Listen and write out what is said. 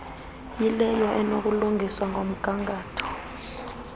yileyo enokulungiswa ngomgangatho